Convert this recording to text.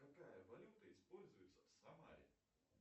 какая валюта используется в самаре